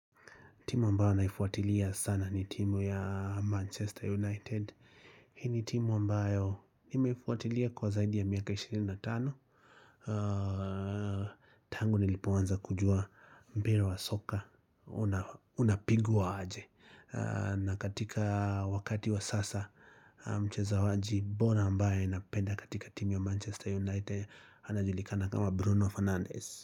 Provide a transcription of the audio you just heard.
Timu ambayo naifuatilia sana ni timu ya Manchester United Hii ni timu ambayo nimeifuatilia kwa zaidi ya miaka 25 Tangu nilipoanza kujua mpira wa soka Unapigwa aje na katika wakati wa sasa mchezaji bora ambaye napenda katika timu ya Manchester United Unapigwa aje.